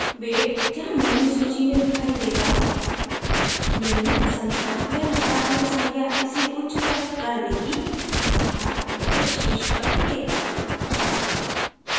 weight जहाँ menu सूची में दिखाई देगा निम्न संख्या या नकारात्मक संख्या इसे उच्चतर कर देगी अर्थात यह शीर्ष पर दिखेगा